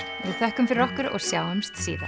við þökkum fyrir okkur og sjáumst síðar